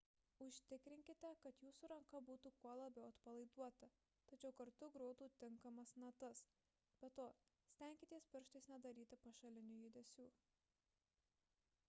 užtikrinkite kad jūsų ranka būtų kuo labiau atpalaiduota tačiau kartu grotų tinkamas natas – be to stenkitės pirštais nedaryti pašalinių judesių